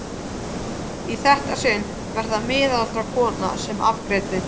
Í þetta sinn var það miðaldra kona sem afgreiddi.